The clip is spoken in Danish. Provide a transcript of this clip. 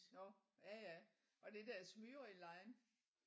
Nåh ja ja var det der Smyril Line